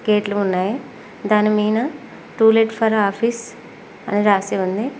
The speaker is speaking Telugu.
గేట్లు ఉన్నాయి దాని మీద టూలెట్ ఫర్ ఆఫీస్ అని రాసి ఉంది.